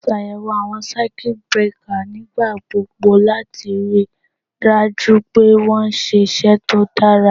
Ṣàyẹ̀wò àwọn Circuit breakers nígbà gbogbo láti ríi dájú pé ó ń ṣiṣẹ́ tó dára.